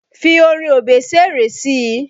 Fi orin Obesere sí i!